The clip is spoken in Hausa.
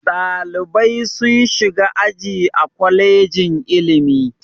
Ɗalibai sun shiga aji a kwalejin ilimi.